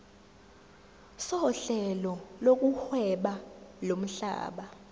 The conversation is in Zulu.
sohlelo lokuhweba lomhlaba